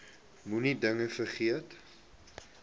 moenie dinge vergeet